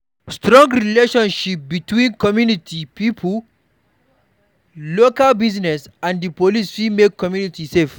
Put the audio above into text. Strong relationship between community pipo, local Business and di police fit make community safe